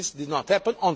planet. This did not